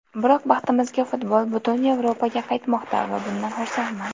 Biroq baxtimizga futbol butun Yevropaga qaytmoqda va bundan xursandman.